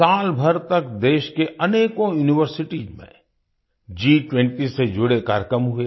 सालभर तक देश के अनेकों यूनिवर्सिटीज में G20 से जुड़े कार्यक्रम हुए